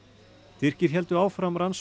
Tyrkir héldu áfram rannsókn